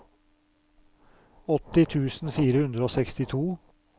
åtti tusen fire hundre og sekstito